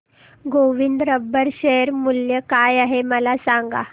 Govind rubber share मूल्य काय आहे मला सांगा